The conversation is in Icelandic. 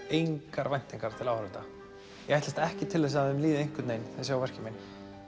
engar væntingar til áhorfenda ég ætlast ekki til þess að þeim líði einhvern veginn þeir sjá verkin mín